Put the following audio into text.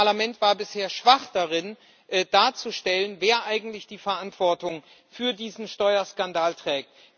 Das Parlament war bisher schwach darin darzustellen, wer eigentlich die Verantwortung für diesen Steuerskandal trägt.